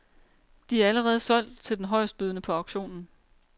De er allerede solgt til den højestbydende på auktionen.